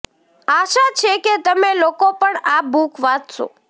આશા છે કે તમે લોકો પણ આ બુક વાંચશો